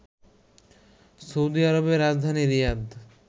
Saudi আরবের রাজধানী রিয়াদ